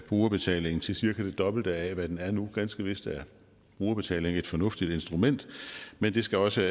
brugerbetalingen til cirka det dobbelte af hvad den er nu ganske vist er brugerbetaling et fornuftigt instrument men det skal også